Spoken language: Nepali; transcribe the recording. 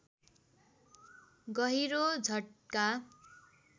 गहिरो झट्का